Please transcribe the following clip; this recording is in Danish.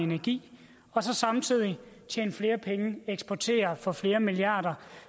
energi og så samtidig tjene flere penge eksportere for flere milliarder